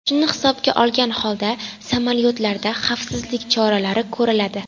Shuni hisobga olgan holda samolyotlarda xavfsizlik choralari ko‘riladi.